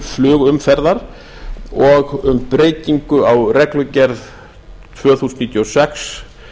flugumferðar og um breytingu á reglugerð númer tvö þúsund og níutíu og sex